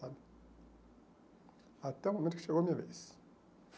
sabe? Até o momento que chegou a minha vez.